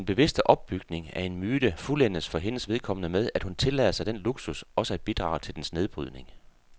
Den bevidste opbygning af en myte fuldendes for hendes vedkommende med, at hun tillader sig den luksus også at bidrage til dens nedbrydning.